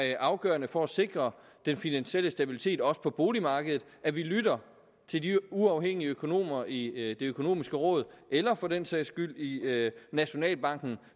ikke afgørende for at sikre den finansielle stabilitet også på boligmarkedet at vi lytter til de uafhængige økonomer i det økonomiske råd eller for den sags skyld i nationalbanken